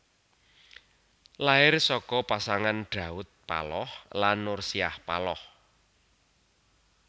Lair saka pasangan Daud Paloh lan Nursiah Paloh